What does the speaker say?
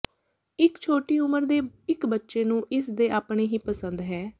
ਇੱਕ ਛੋਟੀ ਉਮਰ ਦੇ ਇਕ ਬੱਚੇ ਨੂੰ ਇਸ ਦੇ ਆਪਣੇ ਹੀ ਪਸੰਦ ਹੈ